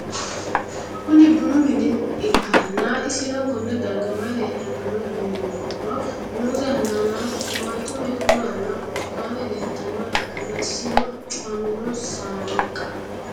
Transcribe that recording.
Kuni bunu mine ikana isino Kone darga mayi leelanno yinumaro muuze hanannisu timantime gooranna buurtukaane leelitoneha ikanna isino cufamino sannqa